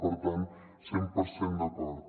per tant cent per cent d’acord